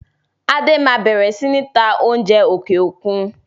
Adé máa bẹ̀rẹ̀ sini ta oúnjẹ òkè òkun.